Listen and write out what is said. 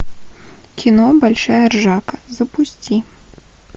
кино большая ржака запусти